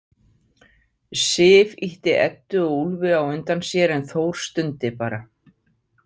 Sif ýtti Eddu og Úlfi á undan sér en Þór stundi bara.